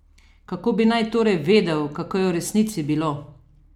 Kako bi naj torej vedel, kako je v resnici bilo?